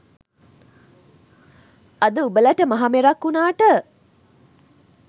අද උඹලට මහ මෙරක් වුනාට